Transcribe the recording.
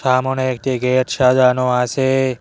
সামোনে একটি গেট সাজানো আছে।